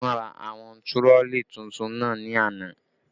Wọ́n ra àwọn tirọlí tuntun náà ni àná